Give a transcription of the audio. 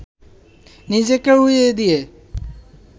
নিজেকে উড়িয়ে দিয়ে